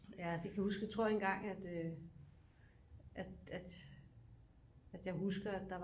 Ja det kan jeg huske jeg tror engang at øh at at at jeg husker at der